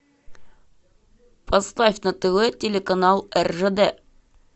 поставь на тв телеканал ржд